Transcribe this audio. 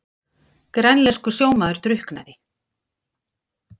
Grænlenskur sjómaður drukknaði